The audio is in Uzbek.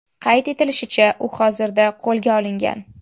Qayd etilishicha, u hozirda qo‘lga olingan.